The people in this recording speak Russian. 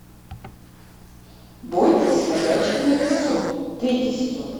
бойтесь ходячих мертвецов третий сезон